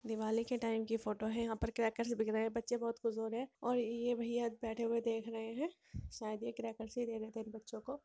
दिवाली के टाइम की फोटो है| यहाँ पर क्रैकर्स बिक रहे हैं बच्चे बहुत खुश हो रहे हैं और ये भईया बैठे हुए देख रहे हैं शायद यह क्रैकर्स ही लेने थे इन बच्चों को।